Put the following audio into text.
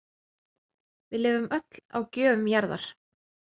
Við lifum öll á gjöfum jarðar